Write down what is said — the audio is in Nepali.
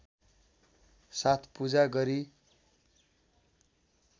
साथ पूजा गरी